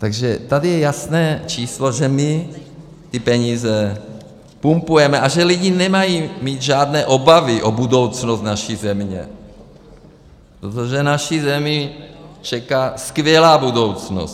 Takže tady je jasné číslo, že my ty peníze pumpujeme a že lidi nemají mít žádné obavy o budoucnost naší země, protože naši zemi čeká skvělá budoucnost.